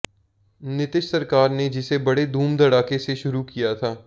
नीतीश सरकार ने जिसे बड़े धूम धड़ाके से शुरू किया था